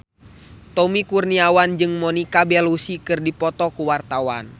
Tommy Kurniawan jeung Monica Belluci keur dipoto ku wartawan